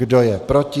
Kdo je proti?